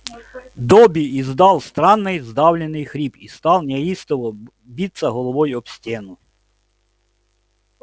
добби издал странный сдавленный хрип и стал неистово биться головой об стену